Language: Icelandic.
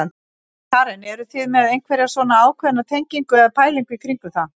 Karen: Eruð þið með einhverja svona ákveðna tengingu eða pælingu í kringum það?